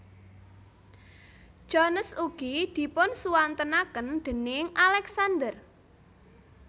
Jones ugi dipunsuwantenaken déning Alexander